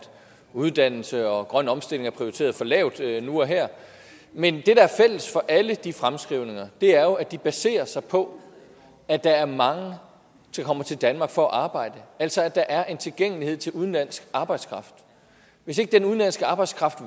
uddannelse og grøn omstilling er prioriteret for lavt nu og her men det der er fælles for alle de fremskrivninger er jo at de baserer sig på at der er mange der kommer til danmark for at arbejde altså at der er en tilgængelighed til udenlandsk arbejdskraft hvis ikke den udenlandske arbejdskraft